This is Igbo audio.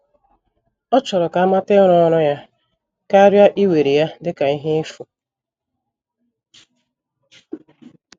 Ọ chọrọ ka amata ịrụ ọrụ ya, karịa iwere ya dịka ihe efu.